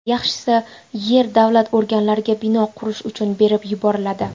Yaxshisi, yer davlat organlariga bino qurish uchun berib yuboriladi”.